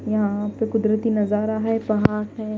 यहां पे कुदरती नजारा है पहाड़ है--